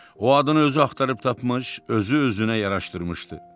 O adını özü axtarıb tapmış, özü-özünə yaraşdırmışdı.